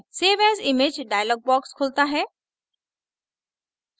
save as image dialog box खुलता है